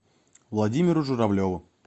владимиру журавлеву